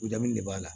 U ja min de b'a la